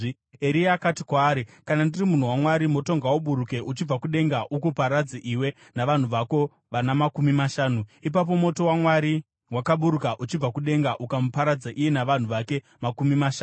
Eria akati kwaari, “Kana ndiri munhu waMwari, moto ngauburuke uchibva kudenga ukuparadze iwe navanhu vako vana makumi mashanu.” Ipapo moto waMwari wakaburuka uchibva kudenga ukamuparadza iye navanhu vake makumi mashanu.